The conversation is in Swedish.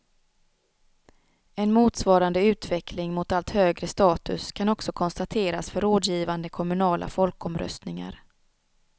En motsvarande utveckling mot allt högre status kan också konstateras för rådgivande kommunala folkomröstningar.